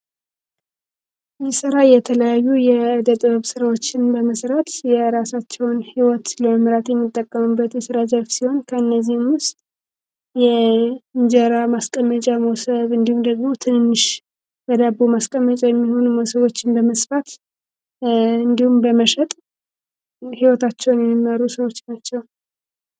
የተለያዩ ስራዎችን መመዝገራሳቸውን ህይወት ሲሆን ከእነዚህም እንጀራ ማስቀመጫ ደግሞ ትንሽ የሚሆነው ሰዎች እንደመስማት እንዲሁም በመሸጥ የሚመሩ